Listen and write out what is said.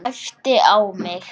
Æpti á mig.